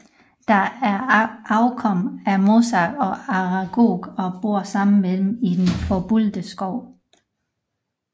De er afkom af Mosag og Aragog og bor sammen med dem i den Forbudte Skov